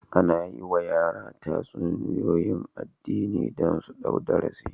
Ana yi wa yara tatsuniyoyi na addini don su ɗau darasi